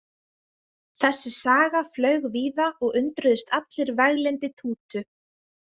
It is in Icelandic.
Þessi saga flaug víða og undruðust allir veglyndi Tútu.